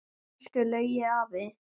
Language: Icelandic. Elsku Laugi afi.